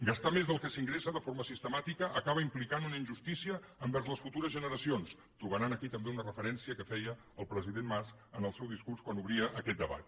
gastar més del que s’ingressa de forma sistemàtica acaba implicant una injustícia envers les futures generacions trobaran aquí també una referència que feia el president mas en el seu discurs quan obria aquest debat